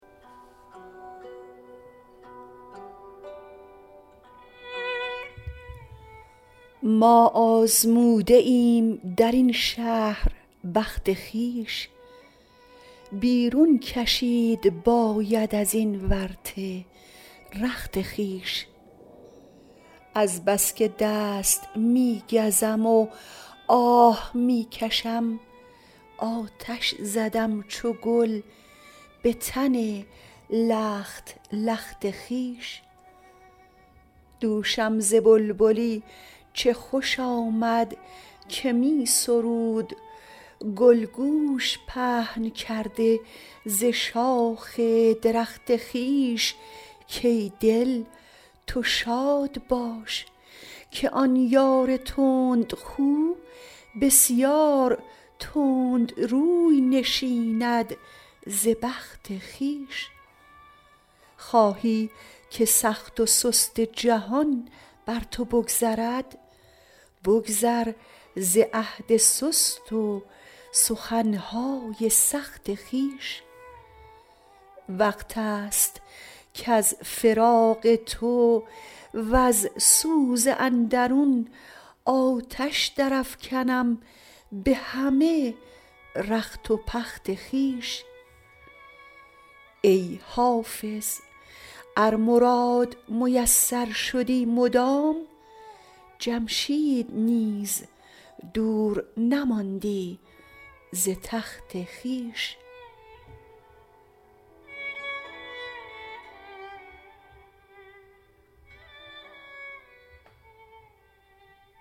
ما آزموده ایم در این شهر بخت خویش بیرون کشید باید از این ورطه رخت خویش از بس که دست می گزم و آه می کشم آتش زدم چو گل به تن لخت لخت خویش دوشم ز بلبلی چه خوش آمد که می سرود گل گوش پهن کرده ز شاخ درخت خویش کای دل تو شاد باش که آن یار تندخو بسیار تند روی نشیند ز بخت خویش خواهی که سخت و سست جهان بر تو بگذرد بگذر ز عهد سست و سخن های سخت خویش وقت است کز فراق تو وز سوز اندرون آتش درافکنم به همه رخت و پخت خویش ای حافظ ار مراد میسر شدی مدام جمشید نیز دور نماندی ز تخت خویش